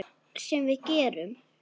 Sem við gerum.